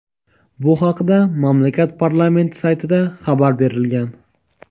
Bu haqda mamlakat parlamenti saytida xabar berilgan.